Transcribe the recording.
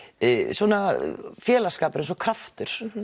svona félagsskapur eins og kraftur